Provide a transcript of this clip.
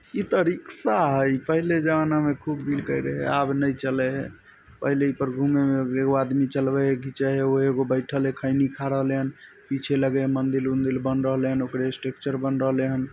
इ ते रिक्शा हेय पहले जमाना में खूब बिके रहे आब ने चले हेय पहले एपर घूमे में भी एगो आदमी चलबे हेय घिचे हेय हेउ एगो बैठएल हेय खैनी खा रहले हेन पीछे लगे हेय मंदिर उन्दिर बन रहले हेन ओकरे स्ट्रक्चर बन रहले हेन।